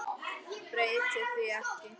Breyti því ekki.